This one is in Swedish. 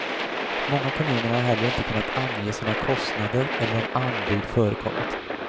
Många kommuner har heller inte kunnat ange sina kostnader eller om anbud förekommit.